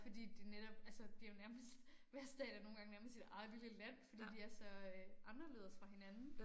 Fordi det netop altså det jo nærmest hver stat er nogle gange nærmest sit eget lille land fordi de er så øh anderledes fra hinanden